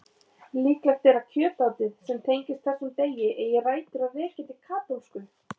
Líklegt er að kjötátið sem tengist þessum degi eigi rætur að rekja til katólsku.